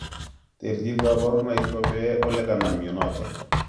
Terchin kaparunaik ko pee ole kanam mianitok